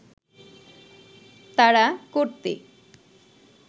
তাড়া করতে